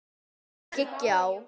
Ferðina skyggi á.